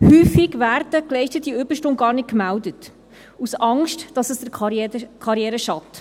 Häufig werden geleistete Überstunden gar nicht gemeldet, aus Angst, dass es der Karriere schadet.